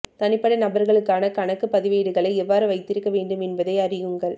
தனிப்பட்ட நபர்களுக்கான கணக்குப் பதிவேடுகளை எவ்வாறு வைத்திருக்க வேண்டும் என்பதை அறியுங்கள்